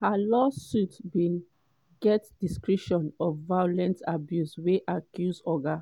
but for one civil suit she accuse di business man say im use im power to arrange "manipulative and coercive romantic and sexual relationship".